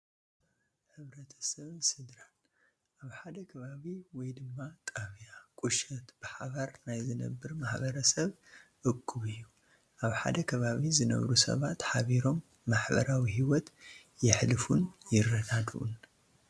ሕ/ሰብን ስድራን፡- ኣብ ሓደ ከባቢ ወይ ድማ ጣብያ፣ ቁሸት ብሓባር ናይ ዝነብር ማሕበረሰብ እኩብ እዩ፡፡ ኣብ ሓደ ከባቢ ዝነብሩ ሰባት ሓቢሮም ማሕበራዊ ሂወት የሕልፉን ይረዳድኡን፡፡